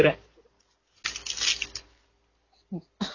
அன்னைக்கு குடுத்தா பொறி இப்போ தான் bag ல இருந்து எடுக்குறேன்